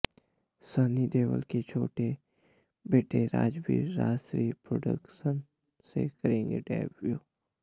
सनी देओल के छोटे बेटे राजवीर राजश्री प्रोडक्शन से करेंगे डेब्यू